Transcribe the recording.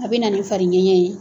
A bɛ na nin fari ŋɛɲɛ ye.